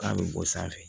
K'a bɛ bɔ sanfɛ